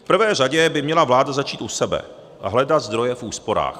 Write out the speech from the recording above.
V prvé řadě by měla vláda začít u sebe a hledat zdroje v úsporách.